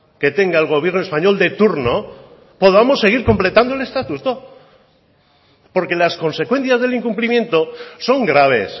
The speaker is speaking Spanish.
que tenga el gobierno español de turno podamos seguir completando el estatuto porque las consecuencias del incumplimiento son graves